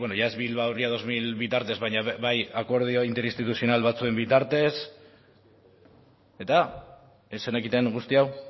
beno ia ez bilbao ria bi mila bitartez baina bai akordio inter instituzional batzuen bitartez eta ez zenekiten guzti hau